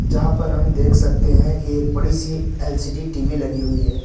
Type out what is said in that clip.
जहां पर हम देख सकते हैं कि एक बड़ी सी एल_सी_डी टी_वी लगी हुई है।